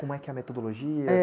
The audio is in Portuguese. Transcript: é que é a metodologia?